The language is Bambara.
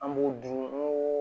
An b'u dun n'u